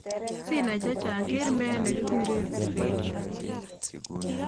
Sinai chechang keer meet ne kikuure prevention